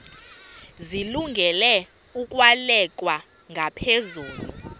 zilungele ukwalekwa ngaphezulu